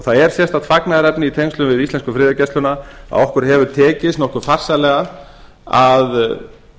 það er sérstakt fagnaðarefni í tengslum við íslensku friðargæsluna að okkur hefur tekist nokkuð farsællega að